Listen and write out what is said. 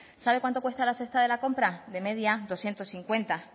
sabe cuánto cuesta la cesta de la compra de media berrehun eta berrogeita hamar